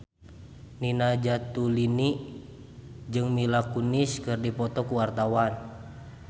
Nina Zatulini jeung Mila Kunis keur dipoto ku wartawan